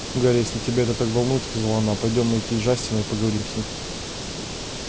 гарри если тебя это так волнует сказала она пойдём найди джастина и поговорим с ним